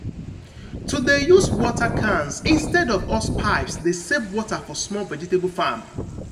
to de use water cans instead of hosepipes de save water for small vegetable farm.